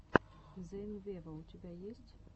зейн вево у тебя есть